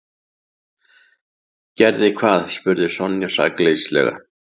Gerði hvað? spurði Sonja sakleysislega.